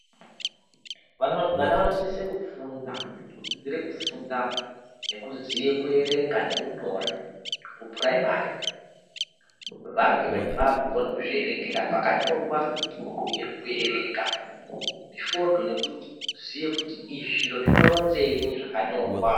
Vana vanosise kufunda kudzidzire kufunda nekudzidzire kuerenga nekunyora kupuraimari vange vakukone kuzvierengera pakanyorwa uye kuerenga mifodho nekuziya kuti izvi zviro zvinoronzenyi zvakanyorwa.